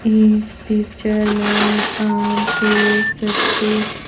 इस पिक्चर में आप देख सकते है।